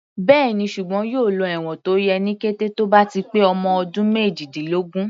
Bẹ́ẹ̀ni, ṣùgbọ́n yóò lọ ẹ̀wọ̀n tó yẹ ní kété tó bá ti pé ọmọ ọdún méjìdínlógún.